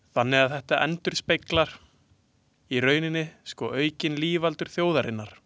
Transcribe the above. Þannig að þetta endurspeglar í rauninni sko aukin lífaldur þjóðarinnar.